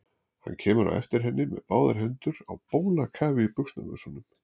Hann kemur á eftir henni með báðar hendur á bólakafi í buxnavösunum.